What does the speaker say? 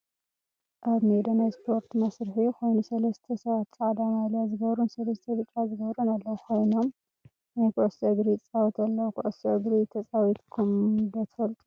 ኣብ ሜዳ ናይ ስፖርት መስርሒ ኮይኑሰለስተ ሰባት ፃዕዳ ማልያ ዝገበሩን ሰለስተ ብጫ ዝገበሩን ኣለው። ኮይኖም ናይ ኩዕሾ እግሪ ይፃወቱ ኣለው። ኩዕሾ እግሪ ተፃዊትኩመ ዶ ትፈልጡ?